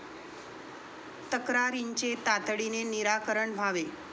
तक्रारींचे तातडीने निराकरण व्हावे.